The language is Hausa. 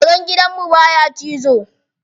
Karen gidan mu baya cizo.